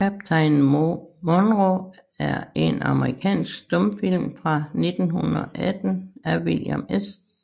Kaptajn Monroe er en amerikansk stumfilm fra 1918 af William S